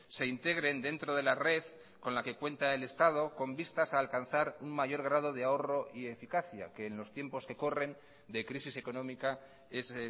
se integren dentro de la red con la que cuenta el estado con vistas a alcanzar un mayor grado de ahorro y eficacia que en los tiempos que corren de crisis económica es